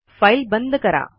file बंद करा